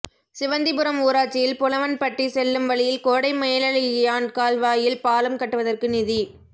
சிவந்திபுரம் ஊராட்சியில் புலவன்பட்டி செல்லும் வழியில் கோடைமேலழகியான் கால்வாயில் பாலம் கட்டுவதற்கு நிதி